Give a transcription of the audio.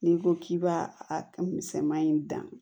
N'i ko k'i b'a a misɛnman in dan